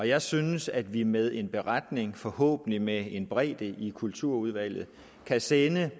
jeg synes at vi med en beretning forhåbentlig med en bredde i kulturudvalget kan sende